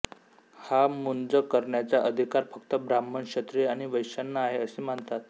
हा मुंज करण्याचा अधिकार फक्त ब्राह्मण क्षत्रिय आणि वैश्यांना आहे असे मानतात